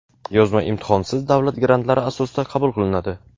yozma imtihon)siz davlat grantlari asosida qabul qilinadi.